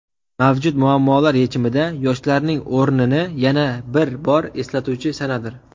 mavjud muammolar yechimida yoshlarning o‘rnini yana bir bor eslatuvchi sanadir.